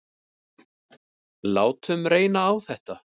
Látum reyna á þetta.